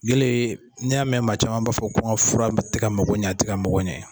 Gele ni y'a mɛn maa caman b'a fɔ ko n ka fura te ka mako ɲɛ te ka mako ɲɛ.